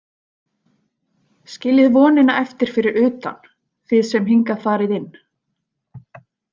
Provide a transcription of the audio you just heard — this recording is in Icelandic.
Skiljið vonina eftir fyrir utan, þið sem hingað farið inn.